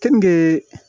Keninge